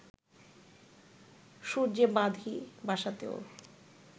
সূর্যে বাঁধি বাসাতেও